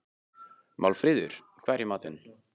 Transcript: Málfríður, hvað er í matinn?